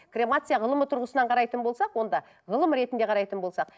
кремация ғылымы тұрғысынан қарайтын болсақ онда ғылым ретінде қарайтын болсақ